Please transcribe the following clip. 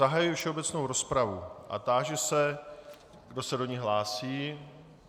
Zahajuji všeobecnou rozpravu a táži se, kdo se do ní hlásí.